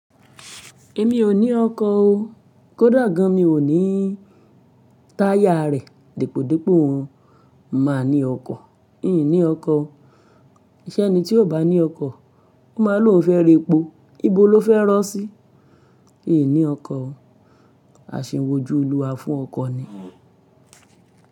Èmi ò ní ọkọ̀ o. Kódà gàn mi ò ní táyà rẹ̀. Depòdepò mo máa ní ọkọ̀. N ní ọkọ̀ o Ṣé ẹni tí oò bá ní ọkọ̀, ó máa ni oun fẹ́ ra epo. Íbo lo fẹ́ rọ́ sí? N ní ọkọ̀ o. À ṣin wojú Oluwa fún ọkọ̀ ni.